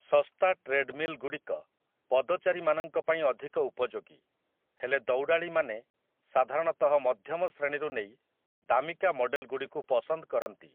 ଶସ୍ତା ଟ୍ରେଡ୍‌ମିଲ୍‌ଗୁଡ଼ିକ ପଦଚାରୀମାନଙ୍କ ପାଇଁ ଅଧିକ ଉପଯୋଗୀ, ହେଲେ ଦୌଡ଼ାଳୀମାନେ ସାଧାରଣତଃ ମଧ୍ୟମ ଶ୍ରେଣୀରୁ ନେଇ ଦାମିକା ମଡେଲଗୁଡ଼ିକୁ ପସନ୍ଦ କରନ୍ତି ।